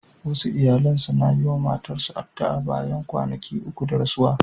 Wasu iyalan suna yi wa mamatansu addu'a bayan kwanaki uku da rasuwarsu.